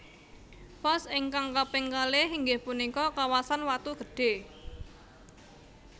Pos ingkang kaping kalih inggih punika kawasan Watu Gede